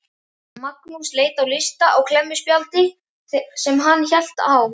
Magnús leit á lista á klemmuspjaldi sem hann hélt á.